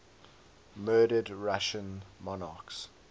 murdered russian monarchs